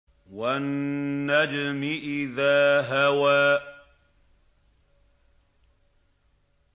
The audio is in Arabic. وَالنَّجْمِ إِذَا هَوَىٰ